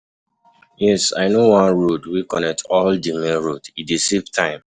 Yes, i know one road wey connect to di main road, e dey save time.